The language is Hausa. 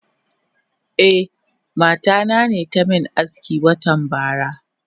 Eh mata nane tamin aski watan bara.